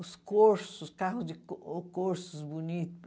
Os corsos, carros de corsos bonitos.